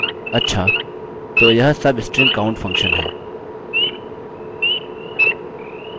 अच्छा – तो यह सबस्ट्रिंग काउंट फंक्शन है